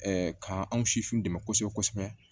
k'an sifinw dɛmɛ kosɛbɛ kosɛbɛ